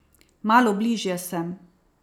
Malo bližje sem.